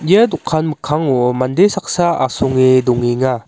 ia dokan mikkango mande saksa asonge dongenga.